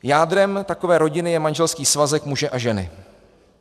Jádrem takové rodiny je manželský svazek muže a ženy.